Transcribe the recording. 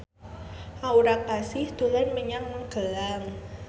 Aura Kasih dolan menyang Magelang